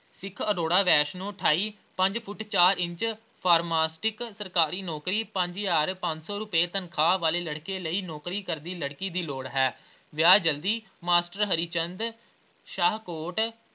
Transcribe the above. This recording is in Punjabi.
ਸਿੱਖ ਅਰੋੜਾ ਵੈਸ਼ਨੂੰ ਅਠਾਈ, ਪੰਜ ਫੁੱਟ ਚਾਰ ਇੰਚ pharmacist ਸਰਕਾਰੀ ਨੌਕਰੀ ਪੰਜ ਹਜ਼ਾਰ ਪੰਜ ਸੌ ਰੁਪਏ ਤਨਖ਼ਾਹ ਵਾਲੇ ਲੜਕੇ ਲਈ ਨੌਕਰੀ ਕਰਦੀ ਲੜਕੀ ਦੀ ਲੋੜ ਹੈ ਵਿਆਹ ਜਲਦੀ ਮਾਸਟਰ ਹਰੀ ਚੰਦ ਸ਼ਾਹਕੋਟ।